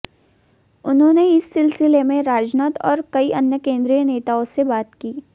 उन्होंने इस सिलसिले में राजनाथ और कई अन्य केन्द्रीय नेताओं से बात की